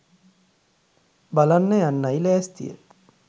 බලන්න යන්නයි ලෑස්තිය